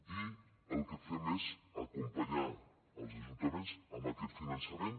i el que fem és acompanyar els ajuntaments amb aquest finançament